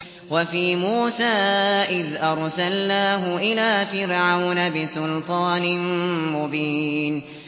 وَفِي مُوسَىٰ إِذْ أَرْسَلْنَاهُ إِلَىٰ فِرْعَوْنَ بِسُلْطَانٍ مُّبِينٍ